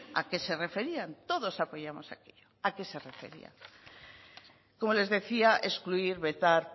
a qué se referían todos apoyamos aquello a qué se referían como les decía excluir vetar